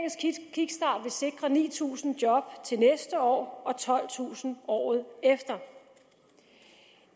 kickstart vil sikre ni tusind job til næste år og tolvtusind året efter